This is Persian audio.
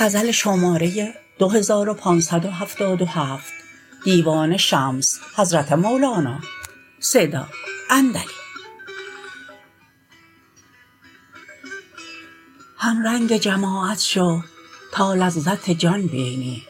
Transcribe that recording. همرنگ جماعت شو تا لذت جان بینی